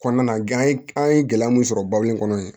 Kɔnɔna na ye an ye gɛlɛya mun sɔrɔ babu in kɔnɔ ye